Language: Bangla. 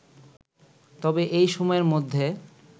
তবে এই সময়ের মধ্যে